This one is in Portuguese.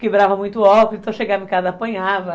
Quebrava muito óculos, então chegava em casa e apanhava.